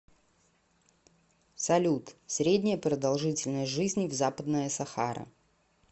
салют средняя продолжительность жизни в западная сахара